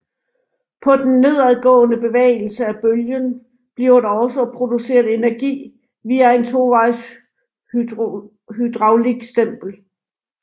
På den nedadgående bevægelse af bølgen bliver der også produceret energi via en tovejs hydraulik stempel